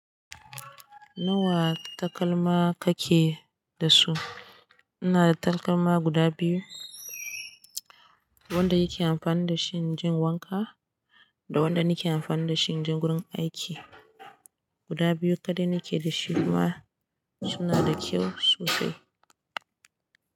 Nawa takalma kake da su? Ina da takalma guda biyu. Wanda yake amfani da shi in jin wanka da wanda nake amfani da shi in je wurin aiki. Guda biyu kaɗai nake da shi ma suna da kyau sosai.